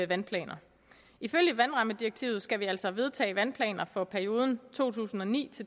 vandplaner ifølge vandrammedirektivet skal vi altså vedtage vandplaner for perioden to tusind og ni